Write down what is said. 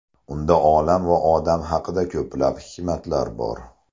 Unda olam va odam haqida ko‘plab hikmatlar bor.